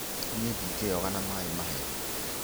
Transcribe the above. Niĩ ndingĩyoga na maĩ mahehu.